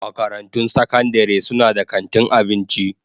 Makarantun sakandare suna da kantin abinci.